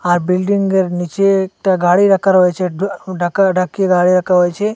আর বিল্ডিংয়ের নীচে একটা গাড়ি রাখা রয়েছে ড ডাকাডাকি গাড়ি রাখা হয়েছে।